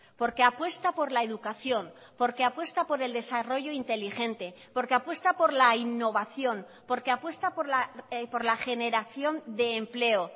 porque apuesta por la educación porque apuesta por el desarrollo inteligente porque apuesta por la innovación porque apuesta por la generación de empleo